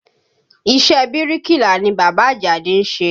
Iṣẹ́ bíríkìlà ni bàbá Àjàdí ń ṣe